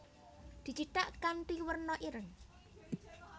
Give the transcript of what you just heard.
Dicithak kanthi werna ireng